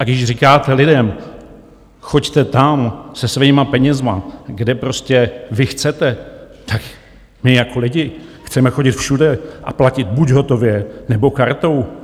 A když říkáte lidem, choďte tam se svými penězi, kde prostě vy chcete, tak my jako lidi chceme chodit všude a platit buď hotově, nebo kartou.